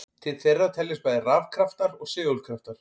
Til þeirra teljast bæði rafkraftar og segulkraftar.